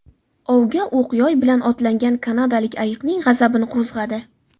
Ovga o‘q-yoy bilan otlangan kanadalik ayiqning g‘azabini qo‘zg‘adi .